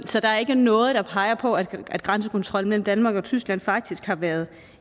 så der er ikke noget der peger på at at grænsekontrollen mellem danmark og tyskland faktisk har været